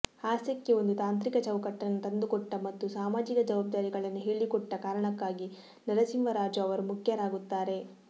ಹಾಸ್ಯಕ್ಕೆ ಒಂದು ತಾಂತ್ರಿಕ ಚೌಕಟ್ಟನ್ನು ತಂದುಕೊಟ್ಟ ಮತ್ತು ಸಾಮಾಜಿಕ ಜವಾಬ್ದಾರಿಗಳನ್ನು ಹೇಳಿಕೊಟ್ಟ ಕಾರಣಕ್ಕಾಗಿ ನರಸಿಂಹರಾಜು ಅವರು ಮುಖ್ಯರಾಗುತ್ತಾರೆ